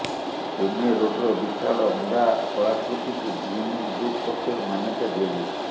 ପୋମେରୋଡ଼୍ର ବିଶାଳ ଅଣ୍ଡା କଳାକୃତିକୁ ଗିନିଜ୍ ବୁକ ପକ୍ଷରୁ ମାନ୍ୟତା ଦିଆଯାଇଛି